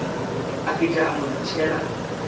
a fihla a mo tšhela